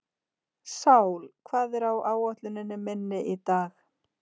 Sál, hvað er á áætluninni minni í dag?